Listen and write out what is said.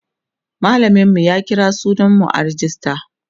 mallamin mu ya kira sunan mu a rejista